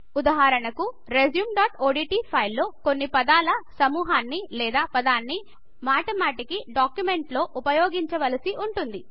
ఉదాహరణకు resumeఓడ్ట్ ఫైల్ లో కొన్ని పదాల సమూహాన్ని లేదా పదాన్ని మాటిమాటికి డాక్యుమెంట్లో ఉపయోగించవలసి వుంటుంది